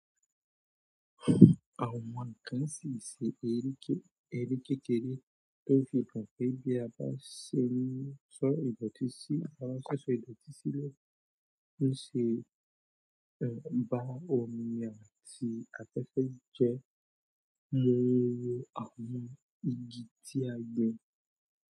Àwọn ọmọ kan sì ṣe eré kékeré tó fi kan fún bí a bá ṣò ìdọ̀tí sílẹ̀. Ní ṣe bá wọ́n ni àti àfẹ̀fẹ̀ jẹ lórin àwọn igi tí a gbin.